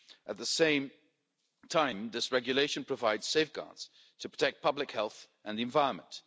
At the same time this regulation provides safeguards to protect public health and the environment.